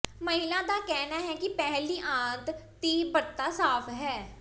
ਮਹਿਲਾ ਦਾ ਕਹਿਣਾ ਹੈ ਕਿ ਪਹਿਲੀ ਆੰਤ ਤੀਬਰਤਾ ਸਾਫ਼ ਹੈ